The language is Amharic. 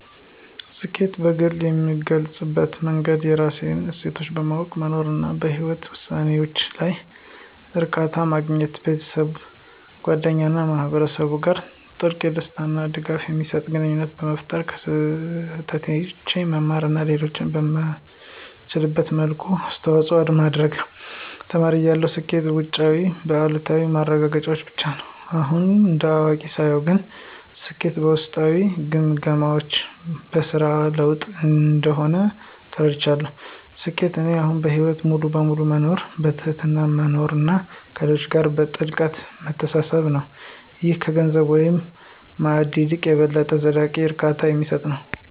ስኬትን በግሌ የምገልፅበት መንገድ የራስህን እሴቶች በማወቅ መኖር፣ እና በህይወትህ ውሳኔዎች ላይ እርካታ ማግኘት። ቤተሰብ፣ ጓደኞች እና ማህበረሰብ ጋር ጥልቅ፣ ደስታ እና ድጋፍ የሚሰጥ ግንኙነት መፍጠር፣ ከስህተቶቼ መማር እና ለሌሎች በምትችልበት መልኩ አስተዋጽኦ ማድረግ። ተማሪ እያለሁ ስኬት በውጫዊ (በእያታ) ማረጋገጫዎች ብቻ ነበር። አሁን እንደ አዋቂ ሳየው ግን ስኬት በውስጣዊ ግምገማዎች (በስራ ለውጥ) እንደሆነ ተረድቻለሁ። ስኬት ለእኔ አሁን በህይወት ሙሉ በሙሉ መኖር፣ በትህትና መማር እና ከሌሎች ጋር በጥልቀት መተሳሰር ነው - ይህም ከገንዘብ ወይም ማዕረግ ይልቅ የበለጠ ዘላቂ እርካታ የሚሰጥ ነው።